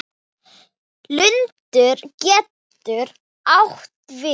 Lundur getur átt við